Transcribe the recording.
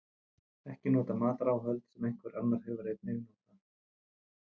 Ekki nota mataráhöld sem einhver annar hefur einnig notað.